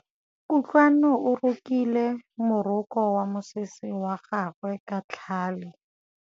Kutlwanô o rokile morokô wa mosese wa gagwe ka tlhale.